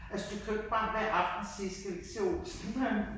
Altså du kan jo ikke bare hver aften sige skal vi ikke se Olsen Banden?